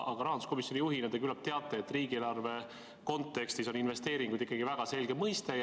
Aga rahanduskomisjoni juhina te küllap teate, et riigieelarve kontekstis on investeeringud ikkagi väga selge mõiste.